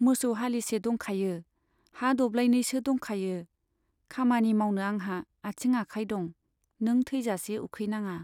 मोसौ हालिसे दंखायो, हा दब्लायनैसो दंखायो, खामानि मावनो आंहा आंथिं आखाय दं, नों थैजासे उखैनाङा।